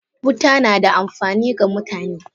Wuta nada amfani ga mutane.